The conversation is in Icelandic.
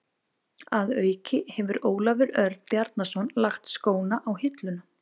Að auki hefur Ólafur Örn Bjarnason lagt skóna á hilluna.